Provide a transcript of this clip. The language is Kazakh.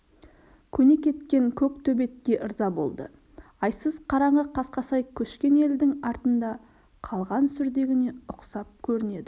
көне кеткен көк төбетке ырза болды айсыз қараңғы қасқасай көшкен елдің артында қалған сүрдегіне ұқсап көрінеді